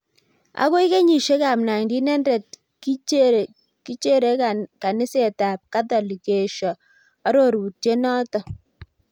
Akoi kenyishek ab 1900 kichergeikaniset ab katholic koesho arorutiet neto